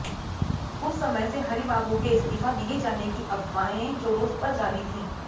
कुछ समय से हरिबाबू के इस्तीफा दिये जाने की अफवाहएं जोरो पर जारी थी